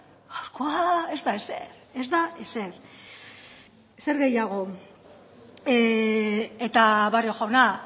ez da ezer ez da ezer barrio jauna